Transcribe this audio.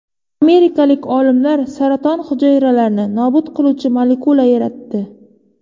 Amerikalik olimlar saraton hujayralarini nobud qiluvchi molekula yaratdi.